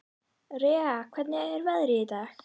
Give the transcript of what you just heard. Rea, hvernig er veðrið í dag?